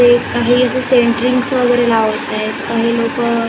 tape आहे याचे centrings वगैरे लावत आहेत काही लोकं --